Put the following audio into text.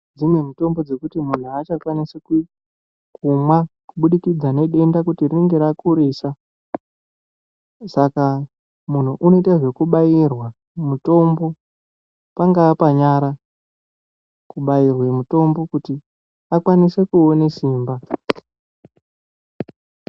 dzimwe mitombo dzekuti munhu achakwanisi kumwa kubudikidza nedenda kuti rinenge rakurisa saka muntu unoite zvekubairwa mutombo pangaa panyara ,kubairwe mutombo kuti akwanise kuone simba.